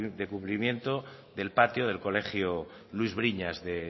de cubrimiento del patio del colegio luis briñas de